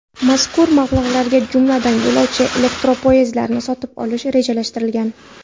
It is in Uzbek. Mazkur mablag‘larga, jumladan, yo‘lovchi elektropoyezdlarini sotib olish rejalashtirilgan.